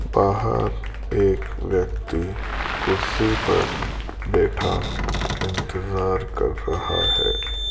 बाहर एक व्यक्ति कुर्सी पर बैठा इंतजार कर रहा है।